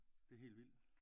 Det er helt vildt